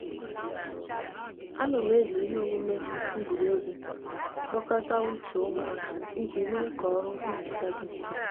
a no m eji ihe omume egwureegwu kpokota uche umu aka iji mee ka oru nhicha di nfe